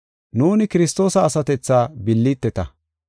Nuuni Kiristoosa asatethaa billiteta.